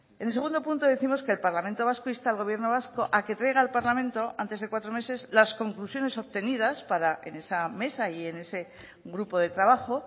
en el segundo punto décimos que el parlamento vasco insta al gobierno vasco a que traiga al parlamento antes de cuatro meses las conclusiones obtenidas para en esa mesa y en ese grupo de trabajo